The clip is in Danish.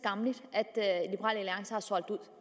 at